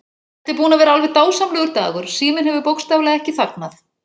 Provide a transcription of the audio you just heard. Þetta er búinn að vera alveg dásamlegur dagur, síminn hefur bókstaflega ekki þagnað.